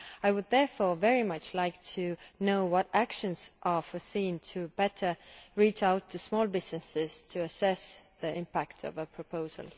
I would therefore very much like to know what actions are foreseen to better reach out to small businesses to assess the impact of a proposal.